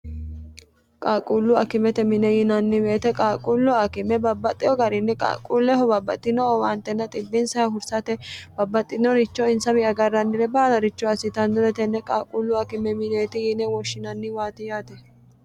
qaaqullu akimete mine yinanni meete qaaqqullu akime babbaxxeho garinni qaaqulleho babbaxxino owaantenna xibbinsay hursate babbaxxinoricho insawi agarrannire baalaricho assitanno tenne qaaqullu akime mineeti yiine woshshinanni waatiyaate